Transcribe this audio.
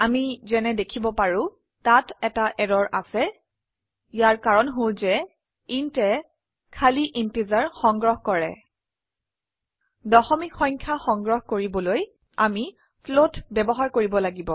আমি যেনে দেখিব পাৰো তাত এটা এৰৰ আছে ইয়াৰ কাৰন হল যে intয়ে খালি ইন্টিজাৰ সংগ্ৰহ কৰে দশমিক সংখ্যা সংগ্ৰহ কৰিবলৈ আমি ফ্লোট ব্যবহাৰ কৰিব লাগিব